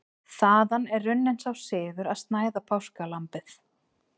Þaðan er runninn sá siður að snæða páskalambið.